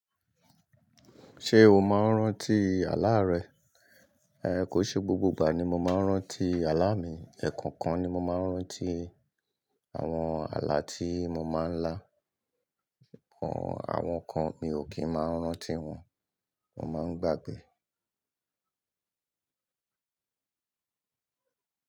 Ṣé o máa ń rántí àlá rẹ? Kò ṣe gbogbo ìgbà ni mo máa ń rántí àlá mi, ẹ̀kan kan ni mo máa ń rántí àwọn àlá tí mo máa ń lá, àwọn kan mi ò kí ń máa rántí wọn, mo máa ń gbàgbẹ́